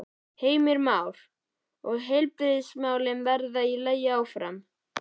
Heimir Már: Og heilbrigðismálin verða í lagi áfram?